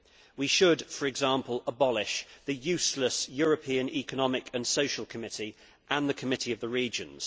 We should, for example, abolish the useless European Economic and Social Committee and the Committee of the Regions.